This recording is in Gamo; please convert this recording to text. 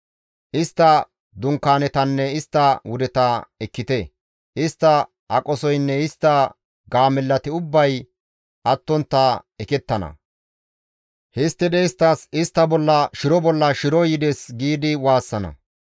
Istta dunkaanetanne istta wudeta ekkite! Istta aqosoynne istta gaamellati ubbay attontta ekettana; Histtidi isttas, ‹Istta bolla shiro bolla shiroy yides› giidi waassana.